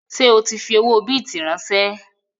Ṣé o tí fi owó bìtì ránsẹ́?